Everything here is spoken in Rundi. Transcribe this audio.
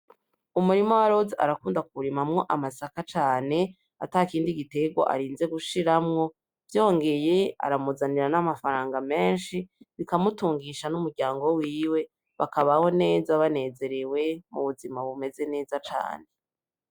Umurima wa Roza arakunda kuwu rimamwo amasaka cane atakindi gitgewa arinze gushirmwo, vyongeye aramuzanira n'amafaranga menshi bikamutungisha n'umurayngo wiwe bakabaho neza banezerewe mu buzima bumeze neza cane.